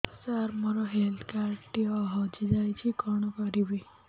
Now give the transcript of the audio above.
ସାର ମୋର health card ଟି ହଜି ଯାଇଛି କଣ କରିବି